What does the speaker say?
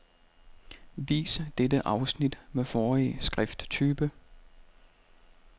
Vis dette afsnit med forrige skrifttype.